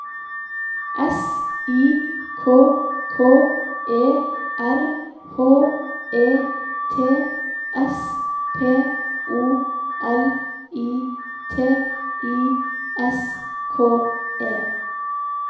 S I K K E R H E T S P O L I T I S K E